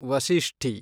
ವಶಿಷ್ಟಿ